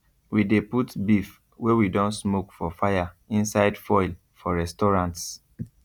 we de put beef wey we don smoke for fire inside foil for restaurants